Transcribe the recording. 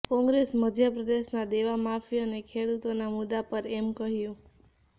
કોંગ્રેસે મધ્યપ્રદેશના દેવામાફી અને ખેડૂતોના મુદ્દા પર એમ કહ્યું